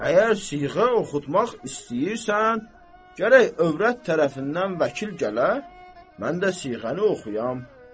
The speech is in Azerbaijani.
Əgər siğə oxutmaq istəyirsən, gərək övrət tərəfindən vəkil gələ, mən də siğəni oxuyam.